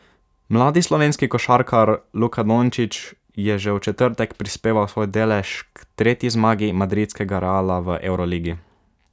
Mladi slovenski košarkar Luka Dončić je že v četrtek prispeval svoj delež k tretji zmagi madridskega Reala v evroligi.